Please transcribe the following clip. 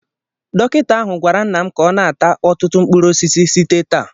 Dọkịta ahụ gwara nna m ka ọ na ata ọtụtụ mkpụrụ osisi site taa